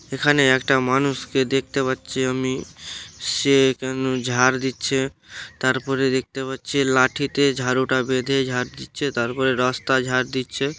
এখানে একটা মানুষকে দেখতে পাচ্ছি আমি সে কেন ঝার দিচ্ছে তারপরে দেখতে পাচ্ছে লাঠিতে ঝাড়ুটা বেঁধে ঝার দিচ্ছে তারপরে রাস্তা ঝাড় দিচ্ছে।